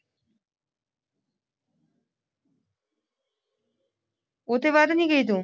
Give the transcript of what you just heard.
ਉਸ ਤੇ ਬਾਅਦ ਨਹੀਂ ਗਈ ਤੂੰ